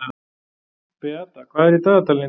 Beata, hvað er í dagatalinu í dag?